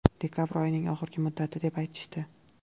Dekabr oyini oxirgi muddat, deb aytishdi.